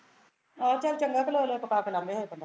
ਆਹੋ ਚੱਲ ਚੰਗਾ ਕਿ ਲੋਏ ਲੋਏ ਪਕਾ ਕੇ ਲੰਘ ਜਾਏ ਬੰਦਾ